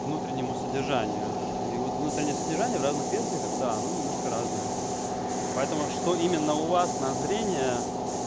внутреннему содержанию и вот внутреннее содержание в разных версиях да оно немножко разное поэтому что именно у вас на зрение